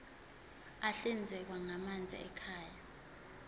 ahlinzekwa ngamanzi ekhaya